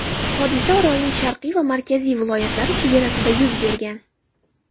Hodisa orolning Sharqiy va Markaziy viloyatlari chegarasida yuz bergan.